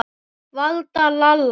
Valda, Lalla.